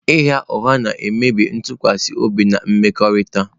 Ịgha ụgha na-emebi ntụkwasị obi na mmekọrịta.